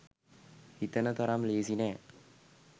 හිතන තරම් ලේසි නෑ